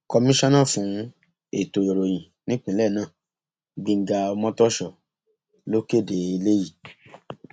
komisanna fún ètò ìròyìn nípìnlẹ náà gbẹngá ọmọtòso ló kéde eléyìí